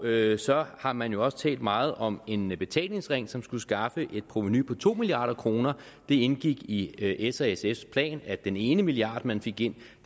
nederst så har man jo også talt meget om en betalingsring som skulle skaffe et provenu på to milliard kroner det indgik i sfs plan at den ene milliard man fik ind